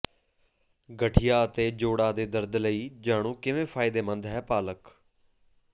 ਗਠੀਆ ਅਤੇ ਜੋੜਾਂ ਦੇ ਦਰਦ ਲਈ ਜਾਣੋ ਕਿਵੇਂ ਫ਼ਾਇਦੇਮੰਦ ਹੈ ਪਾਲਕ